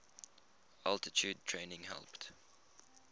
altitude training helped